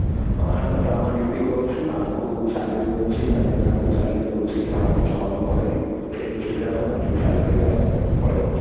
ଆମେ ତ ଆମ duty କରୁଛୁ ଆମକୁ salary ମିଳୁଛି management ଆମକୁ salary ଦଉଛି କି ଆମେ ଛୁଆ ମାନଙ୍କୁ ପଢେଇଲୁ ହିସାବରେ ଆମେ monthly salary ନେଇକି ଆମେ ପଳେଈ ଆସିଲୁ